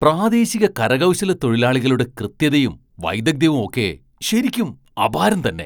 പ്രാദേശിക കരകൗശലത്തൊഴിലാളികളുടെ കൃത്യതയും വൈദഗ്ധ്യവും ഒക്കെ ശരിക്കും അപാരം തന്നെ.